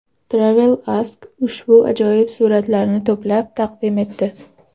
TravelAsk ushbu ajoyib suratlarni to‘plab taqdim etdi .